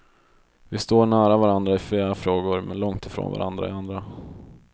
Vi står nära varandra i flera frågor, men långt ifrån varandra i andra.